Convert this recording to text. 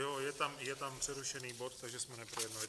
Jo, je tam přerušený bod, takže jsme neprojednali.